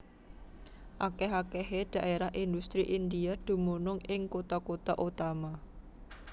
Akèh akèhé dhaérah indhustri India dumunung ing kutha kutha utama